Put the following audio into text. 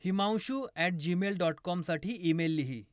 Himanshu at gmail dot कॉमसाठी email लिही